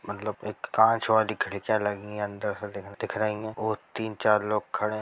मतलब एक कांच वाली खिड़कियाँ लगी हैं अंदर से दिक--- दिख रही हैं और तीन-चार लोग खड़े हैं।